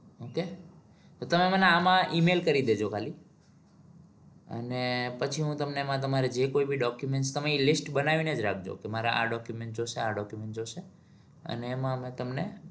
Okay તો તમે મને આમાં email કરી દેજો ખાલી. અને પછી હું તમને એમાં તમારી જે કોઈ બી document તમે એ list બનાવીને જ રાખજો. તમારે આ document જોવશે. આ document જોવશે અને એમાં હું તમને